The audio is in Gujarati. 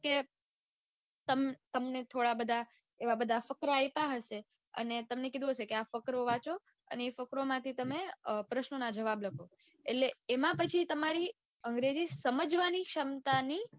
કે તમ તમને થોડા બધા એવા બધા ફકરા આઈપા હશે અને તમને કીધું હશે આ ફકરો વાંચો. અને એ ફકરામાંથી વાટમેં અઅ પ્રશ્નો ના જવાબ લખો એટલે એમાં પછી તમારી અંગ્રેજી સમજવાની ક્ષમતાની કે